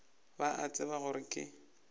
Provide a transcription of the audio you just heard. ba a tseba gore ke